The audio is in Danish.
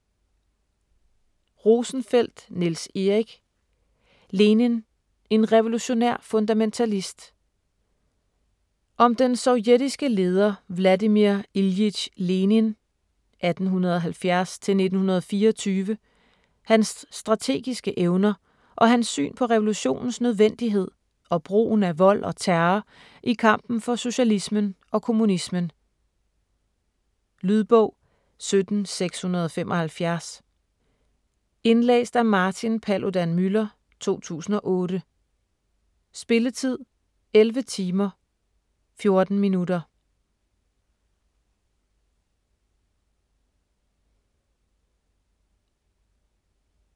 Rosenfeldt, Niels Erik: Lenin: en revolutionær fundamentalist Om den sovjetiske leder Vladimir Iljitj Lenin (1870-1924), hans strategiske evner og hans syn på revolutionens nødvendighed og brugen af vold og terror i kampen for socialismen og kommunismen. Lydbog 17675 Indlæst af Martin Paludan-Müller, 2008. Spilletid: 11 timer, 14 minutter.